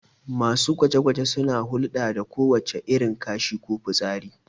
Masu gwaje-gwaje suna hulɗa da kowace irin kashi da fitsari